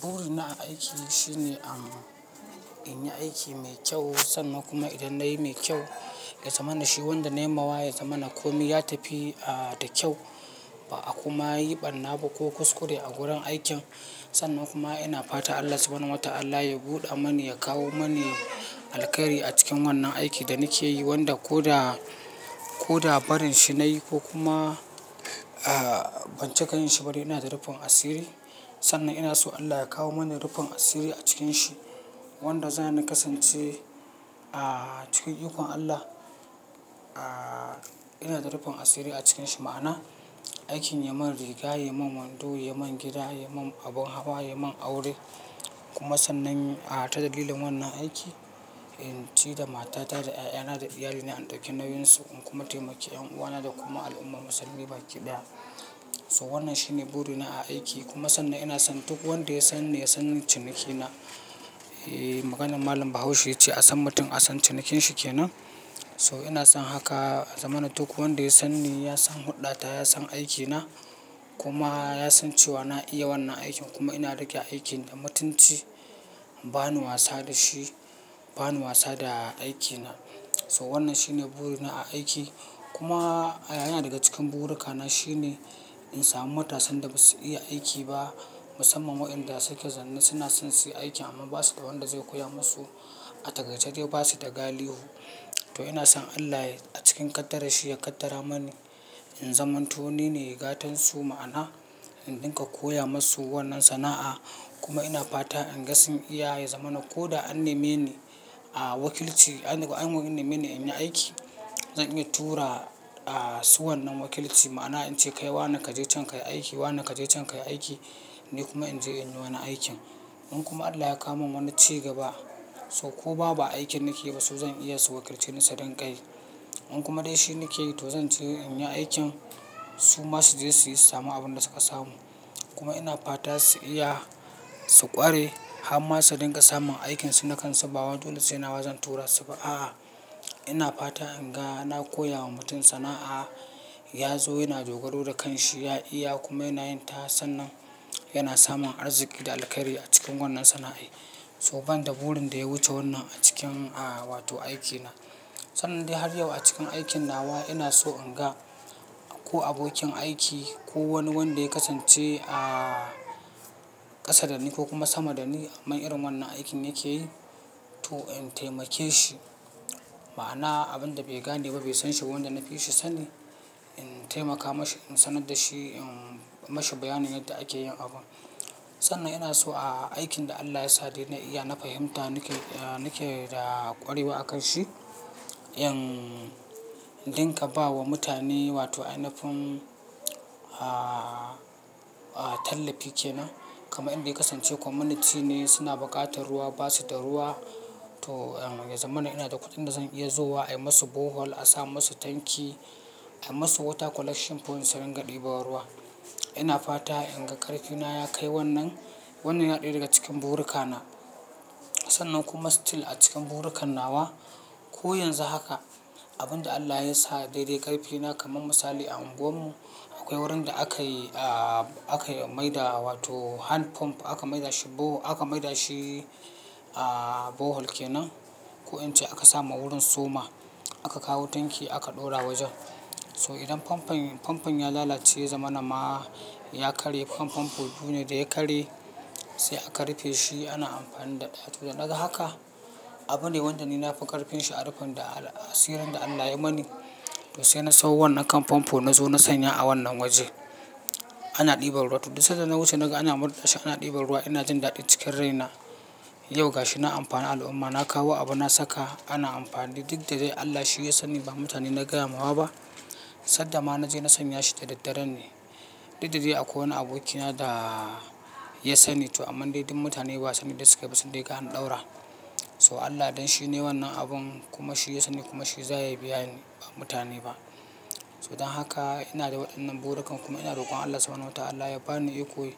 Buri na a aiki shine, in yi aiki mai kyau, sannan kuma idan nayi mai kyau, yazamana shi wanda nayi mawa, yazamana komi ya tafi da kyau. Ba a kuma yi ɓarna ba ko kuskure a gurin aikin, sannan kuma ina fata Allah subanun wa ta'ala ya buɗa mani, ya kawo mani alkairi a cikin wannan aiki da nake yi, wanda ko da, ko da barin shi na yi ko kuma a, ban cika yin shi ba dai ina da rufin asiri, sannan ina so Allah ya kawo mani rufin asiri a cikin shi, wanda zani kasance a, cikin ikon Allah, a, ina da rufin asiri a cikin shi. Ma'ana, aikin ya mun riga, ya mun wando, ya mun gida, ya mun abin hawa, ya mun aure. Kuma sannan a ta dalilin wannan aiki, in ci da matata da ƴaƴana da iyalina, in ɗauki nauyinsu, in kuma taimaki ƴan uwana da kuma al'umma musulmi baki ɗaya. To wannan shine buri na a aiki. Kuma sannan ina son duk wanda ya sanni, ya san cinikina. Eh, maganar Malam Bahaushe ya ce, "A san mutum a san cinikin shi kenan." To ina son haka, yazamana duk wanda ya san ni, ya san huɗɗata, ya san aikina, kuma ya san cewa na iya wannan aikin, kuma ina riƙe aikin da matunci. Ba ni wasa da shi, ba ni wasa da aikina. So wannan shine burina a aiki. Kuma yana daga cikin burukana shine, in samu matasan da basu iya aiki ba, musamman waƴanda suka zanne suna son su yi aiki amma basu da wanda zai koya musu, a taƙaice de basu da galihu. To ina son Allah a cikin qaddara shi, ya qaddara manu in zamanto ni ne gatansu. Ma'ana, in ɗinka koya musu wannan sana'a, kuma ina fata in ga sun iya, yazamana ko da an nemi ni a wakilci, an nemi ni in yi aiki, zan iya tura a su wannan wakilci. Ma'ana, in ce kai wane ka je can ka yi aiki, wane ka je can ka yi aiki, ni kuma in je in yi wani aikin. In kuma Allah ya kawo min wani cigaba, so ko ba, ba aikin nake ba su zan iya su wakilce ni su dinga yi. In kuma dai shi nake yi, to zan ce in yi aikin, su ma su je su yi su samu abin da suka samu. Kuma ina fata su iya, su ƙware, har ma su dinga samun aikinsu na kansu ba wai dole sai nawa zan tura su ba. A'a, ina fata in ga, na koya wa mutum sana'a, ya zo yana dogaro da kanshi, ya iya kuma yana yin ta, sannan yana samun arziƙi da alkairi a cikin wannan sana'ai. So bani da burin da ya wuce wannan a cikin, a, wato aikina. Sannan dai har yau a cikin aikin nawa, ina so inga, ko abokin aiki ko wani wanda ya kasance a ƙasa da ni ko kuma sama da ni, amman irin wannan aikin yake to in taimake shi. Ma'ana, abin da bai gane ba bai san shi ba wanda na fi shi sani, in taimaka mashi, in sanar da shi, in mashi bayanin yadda ake yin abun. Sannan ina so a aikin da Allah ya sade na iya, na fahimta, nake, nake da ƙwarewa a kan shi. In ɗinka ba wa mutane wato anafin a, a, tallafi kenan. Kamar inda ya kasance community ne suna buƙatar ruwa, basu da ruwa. To, yazamana ina da kuɗin da zan iya zowa, ai masu borehole, a sa masu tanki, ai masu water collection point su ringa ɗinban ruwa. Ina fata in ga ƙarfina ya kai wannan, wannan yana ɗaya daga cikin burukana. Sannan kuma still a cikin burukan nawa, ko yanzu haka, abin da Allah ya sa daidai ƙarfina kamar misali a unguwarmu, akwai wurin da aka yi, a, akai maida wato hand pump aka maida shi borehole, aka maida shi a borehole kenan. Ko in ce aka sa ma wurin soma, aka kawo tanki aka ɗora wajen. To idan famfon, famfon ya lalace, ya zamana ma, ya karye kan famfon biyu ne, da ya karye, sai aka rufe shi ana amfani ɗaya, to da naga haka, abune wanda ni na fi ƙarfinshi a rufin da asirin da Allah ya mani. Sai na sawo wannan kan famfo, na zo na sanya a wannan waje. Ana ɗiba ruwa, duk da sadda na wuce naga ana murɗa shi, ana ɗiban ruwa ina jin daɗi cikin raina. Yau gashi na amfani al'umma, na kawo abu na saka, ana amfani da. Duk da dai Allah shi ya sani, ba mutane na gaya mawa ba, sanda ma na je na sanya shi da daddare ne. Duk da dai akwai wani abokina da ya sani. To amma dai duk mutane ba sani dai sukai ba sun dai ga an ɗaura. To Allah don shi ne wannan abun, kuma shi ya sani, kuma shi za ya biyani ba mutane ba. To dan haka, ina da waɗannan burukan, kuma ina rokon Allah sabona wa ta'ala ya bani iko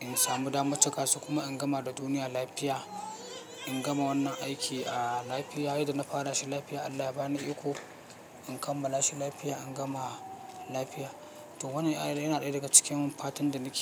in samu dama cika su kuma in gama da duniya lafiya. In gama wannan aiki a lafiya, yadda na fara shi lafiya. Allah ya bani iko, in kammala shi lafiya, in gama lafiya. To wannan yana ɗaya daga cikin fatan da nake.